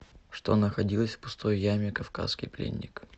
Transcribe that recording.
что находилось в пустой яме кавказский пленник